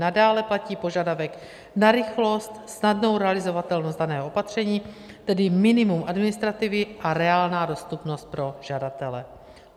Nadále platí požadavek na rychlost, snadnou realizovatelnost daného opatření, tedy minimum administrativy a reálná dostupnost pro žadatele.